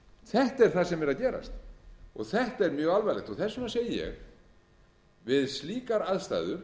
þetta er það sem er að gerast og þetta er mjög alvarlegt þess vegna segi ég við slíkar aðstæður